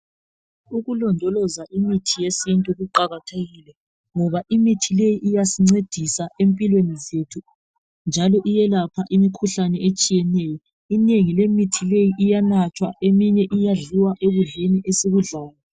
Ukulondoloza imithi yesintu kuqakathekile ngoba imithi leyi iyasincedisa empilweni zethu njalo iyelapha imikhuhlane etshiyeneyo. Inengi lemithi leyi iyanathwa eminye iyadliwa ekudleni esikudlayo.